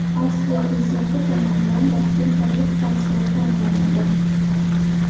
Avstriya prezidenti tomonidan vaqtinchalik kansler tayinlanadi.